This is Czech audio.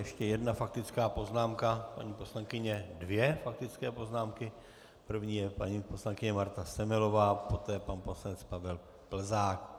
Ještě jedna faktická poznámka paní poslankyně - dvě faktické poznámky, první je paní poslankyně Marta Semelová, poté pan poslanec Pavel Plzák.